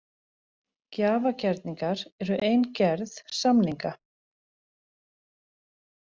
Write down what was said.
Gjafagerningar eru ein gerð samninga.